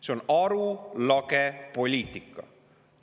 See on arulage poliitika.